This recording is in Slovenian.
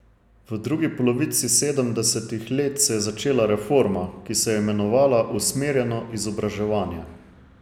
V drugi polovici sedemdesetih let se je začela reforma, ki se je imenovala usmerjeno izobraževanje.